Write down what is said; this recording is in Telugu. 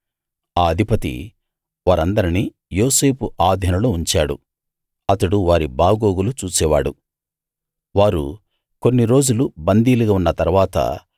ఆ అధిపతి వారందరినీ యోసేపు ఆధీనంలో ఉంచాడు అతడు వారి బాగోగులు చూసేవాడు వారు కొన్నిరోజులు బందీలుగా ఉన్న తరువాత